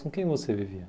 Com quem você vivia?